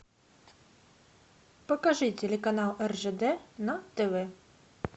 покажи телеканал ржд на тв